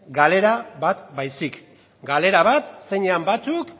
galera bat baizik galera bat zeinean batzuk